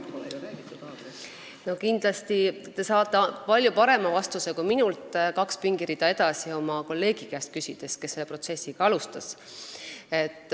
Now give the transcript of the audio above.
Te saate kindlasti palju parema vastuse, kui te küsite kaks pingirida edasi istuva kolleegi käest, kes seda protsessi alustas.